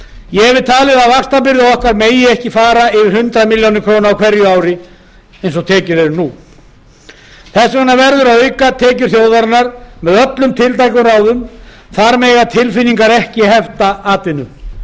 ég hef talið að vaxtabyrði okkar megi ekki fara yfir hundrað milljarða króna á hverju ári eins og tekjur eru nú þess vegna verður að auka tekjur þjóðarinnar með öllum tiltækum ráðum þar mega tilfinningar ekki hefta atvinnu